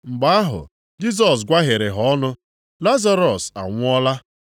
Mgbe ahụ, Jisọs gwaghere ha ọnụ, “Lazarọs anwụọla.